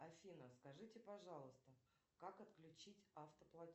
афина скажите пожалуйста как отключить автоплатеж